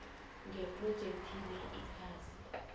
ngephrojekhthi le ikhasi